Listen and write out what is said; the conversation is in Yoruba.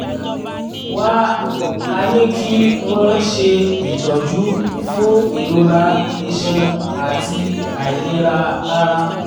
wá a ní kí wọ́n ṣe ìtọ́jú fún ìrora iṣan àti àìlera ara